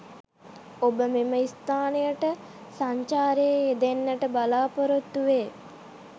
ඹබ මෙම ස්ථානයට සංචාරයේ යෙදෙන්නට බලාපොරොත්තු වේ